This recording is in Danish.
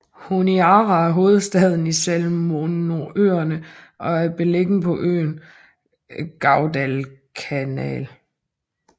Honiara er hovedstaden i Salomonøerne og er beliggende på øen Guadalcanal